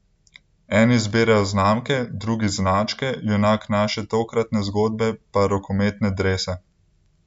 Eni zbirajo znamke, drugi značke, junak naše tokratne zgodbe pa rokometne drese.